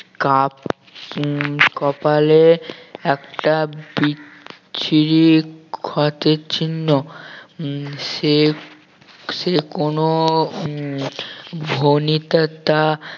cup উম কপালে একটা বিচ্ছিরি ক্ষতর চিহ্ন উম সে সে কোন উম ভণিতা টা